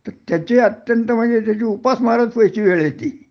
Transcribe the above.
तर त्याची अत्यंत म्हंजे त्याची उपासमारच व्हायची वेळ येती